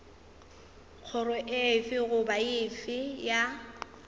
kgoro efe goba efe ya